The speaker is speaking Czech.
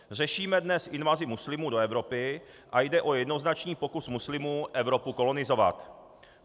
Řešíme dnes invazi muslimů do Evropy a jde o jednoznačný pokus muslimů Evropu kolonizovat.